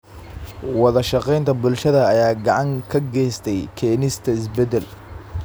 Wadashaqeynta bulshada ayaa gacan ka geysatay keenista isbeddel.